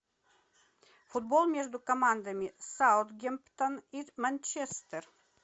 футбол между командами саутгемптон и манчестер